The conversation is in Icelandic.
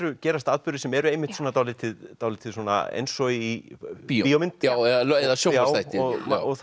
gerast atburðir sem eru dálítið dálítið eins og í bíómynd já eða sjónvarpsþætti það